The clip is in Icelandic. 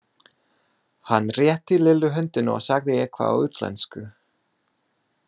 Hann rétti Lillu höndina og sagði eitthvað á útlensku.